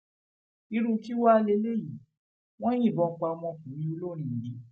irú kí wàá lẹlẹyìí wọn yìnbọn pa ọmọkùnrin olórin yìí